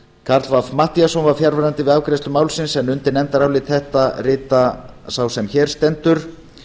karl fimmti matthíasson var fjarverandi við afgreiðslu málsins en undir nefndarálit þetta rita sá sem hér stendur